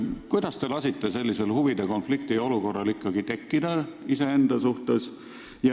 Kuidas te lasite ikkagi tekkida sellisel huvide konflikti olukorral iseenda suhtes?